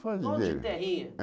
Todo de Todo de terrinha. É